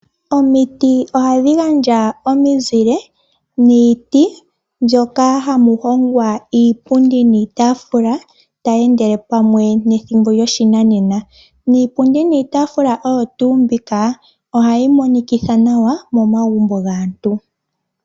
Omiti ohadhi gandja omizile niiti moka hamu hongwa iipundi niitafula tayi endele pamwe nethimbo lyoshinanena. Iipundi niitafula oyo tuu mbika, ohayi monikitha nawa momagumbo gaantu.